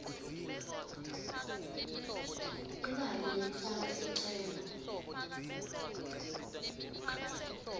imali yekufaka sicelo